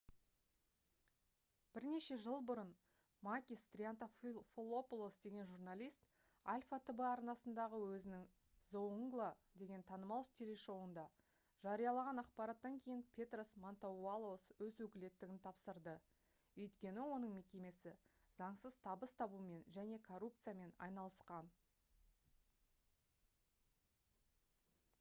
бірнеше жыл бұрын макис триантафилопоулос деген журналист alpha tv арнасындағы өзінің «зоунгла» деген танымал телешоуында жариялаған ақпараттан кейін петрос мантоувалос өз өкілеттігін тапсырды өйткені оның мекемесі заңсыз табыс табумен және коррупциямен айналысқан